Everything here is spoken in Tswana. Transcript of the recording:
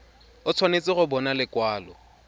o tshwanetse go bona lekwalo